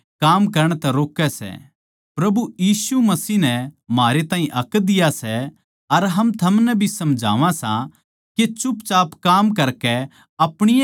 प्रभु यीशु मसीह नै म्हारे ताहीं हक दिया सै अर हम थमनै भी समझावां सां के चुपचाप काम करकै अपणी ए कमाई तै रोट्टी खाया कर